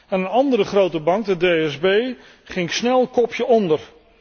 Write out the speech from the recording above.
Een andere grote bank, de DSB, ging snel kopje onder.